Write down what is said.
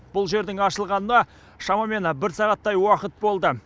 бұл жердің ашылғанына шамамен бір сағаттай уақыт болды